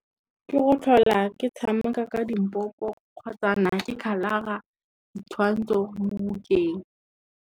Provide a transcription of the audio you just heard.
Ke go tlhola ke tshameka ka dimpopo kgotsa na ke khalara ditshwantsho mo bukeng.